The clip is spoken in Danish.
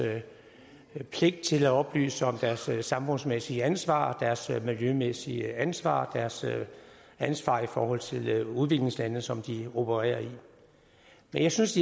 pligt til at oplyse om deres samfundsmæssige ansvar deres miljømæssige ansvar deres ansvar i forhold til udviklingslandene som de opererer i men jeg synes